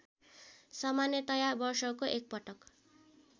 सामान्यतया वर्षको एकपटक